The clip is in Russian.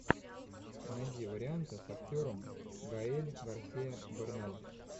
найди варианты с актером гаэль гарсиа берналь